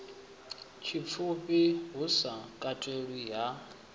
tshipfufhi hu sa katelwi ha